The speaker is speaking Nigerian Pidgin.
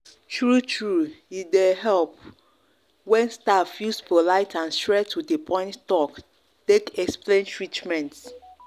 true true e dey help help when staff use polite and straight-to-the-point talk take explain treatment.